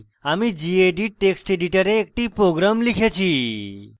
আমি gedit text editor একটি program লিখেছি